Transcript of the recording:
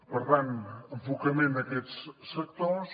per tant enfocament a aquests sectors